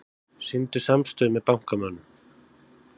Sýndu samstöðu með bankamönnum